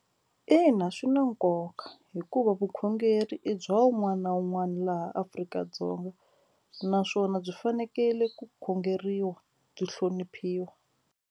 Ina, swi na nkoka hikuva vukhongeri i bya wun'wana na wun'wana laha Afrika-Dzonga naswona byi fanekele ku khongeriwa byi hloniphiwa.